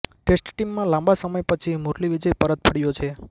test ટીમમાં લાંબા સમય પછી મુરલી વિજય પરત ફર્યો છે